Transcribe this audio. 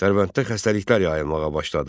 Dərbənddə xəstəliklər yayılmağa başladı.